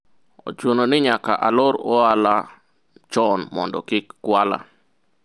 ochuno ni nyaka alor ohala chon mondo kik kwala